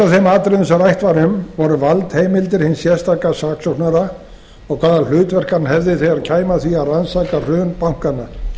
þeim atriðum sem rætt var um voru valdheimildir hins sérstaka saksóknara og hvaða hlutverk hann hefði þegar kæmi að því að rannsaka hrun bankanna